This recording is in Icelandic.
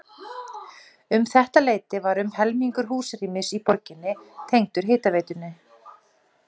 Um þetta leyti var um helmingur húsrýmis í borginni tengdur hitaveitunni.